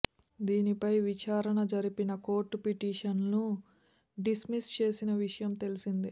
దీనిపై విచారణ జరిపిన కోర్టు పిటిషన్ను డిస్మిస్ చేసిన విషయం తెలిసిందే